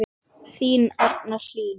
Þín Arna Hlín.